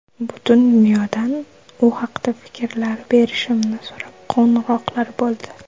Butun dunyodan u haqida fikrlar berishimni so‘rab qo‘ng‘iroqlar bo‘ldi.